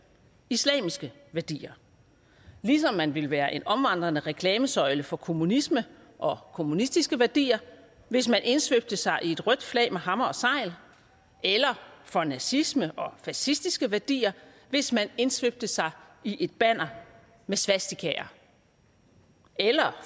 islamiske værdier ligesom man ville være en omvandrende reklamesøjle for kommunisme og kommunistiske værdier hvis man indsvøbte sig i et rødt flag med hammer og sejl eller for nazisme og fascistiske værdier hvis man indsvøbte sig i et banner med svastikaer eller